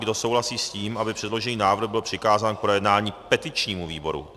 Kdo souhlasí s tím, aby předložený návrh byl přikázán k projednání petičnímu výboru?